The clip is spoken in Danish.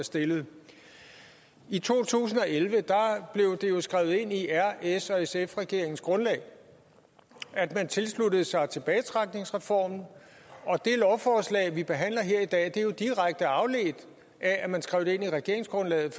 stillede i to tusind og elleve blev det skrevet ind i r s og sf regeringens grundlag at man tilsluttede sig tilbagetrækningsreformen og det lovforslag vi behandler her i dag er direkte afledt af at man skrev det ind i regeringsgrundlaget